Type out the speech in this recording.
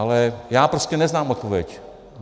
Ale já prostě neznám odpověď.